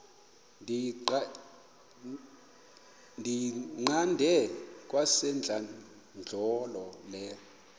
ndiyiqande kwasentlandlolo le